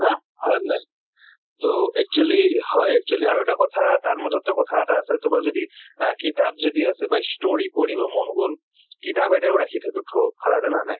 হা ? হয় নে নহয়? তʼ actually হয় actually আৰু এটা কথা তাৰ মাজতো কথা এটা আছে তোমাৰ যদি আহ কিতাপ যদি আছে বা story পঢ়িব মন গʼল। কিতাপ এটাও ৰাখি থৈছো জানা নে নাই?